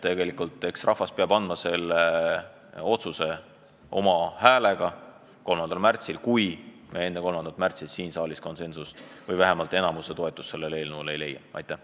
Rahvas peab selle otsuse langetama oma häältega 3. märtsil, kui me enne 3. märtsi siin saalis konsensust ei leia või vähemalt enamuse toetust eelnõule ei saa.